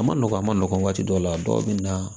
A ma nɔgɔn a ma nɔgɔn waati dɔ la dɔw bɛ na